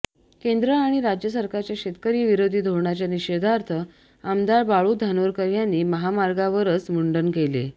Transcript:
केंद्र आणि राज्य सरकारच्या शेतकरी विरोधी धोरणाच्या निषेधार्थ आमदार बाळू धानोरकर यांनी महामार्गवरच मुंडन केले